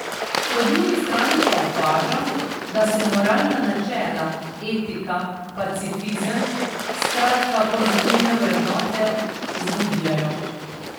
Po drugi strani pa opažam, da se moralna načela, etika, pacifizem, skratka pozitivne vrednote, izgubljajo.